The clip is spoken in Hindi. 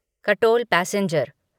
कटोल पैसेंजर